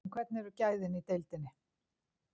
En hvernig eru gæðin í deildinni?